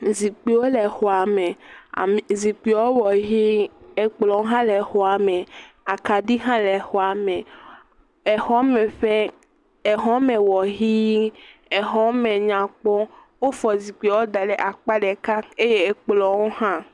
Zikpuiwo le xɔa me. Ame, zikpuiawo wɔ ʋi. Ekplɔ hã le exɔa me, akaɖi hã le exɔa me. Exɔme ƒe, exɔ me wɔ ʋie. Exɔme nyakpɔ. Wofɔ zikpuiwo da ɖe akpa ɖeka eye ekplɔwo hã.